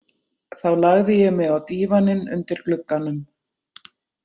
Þá lagði ég mig á dívaninn undir glugganum.